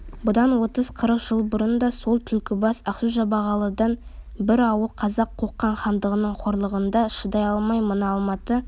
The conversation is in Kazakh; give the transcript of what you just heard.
бұдан отыз-қырық жыл бұрын да сол түлкібас ақсу-жабағылыдан бір ауыл қазақ қоқан хандығының қорлығына шыдай алмай мына алматы